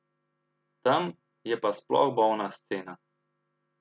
Tam je pa sploh bolna scena.